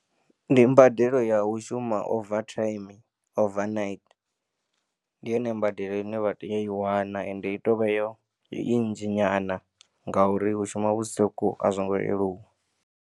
Ndi mbadelo ya u shuma over time, over night. Ndi yone mbadelo ine vha tea u i wana ende i tea u vha yo, nnzhi nyana ngauri u shuma vhusiku a zwo ngo leluwa.